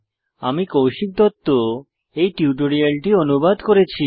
আমি কৌশিক দত্ত এই টিউটোরিয়ালটি অনুবাদ করেছি